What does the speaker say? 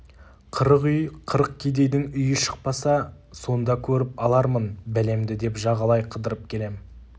қырық үй қырық кедейдің үйі шықпаса сонда көріп алармын бәлемді деп жағалай қыдырып келем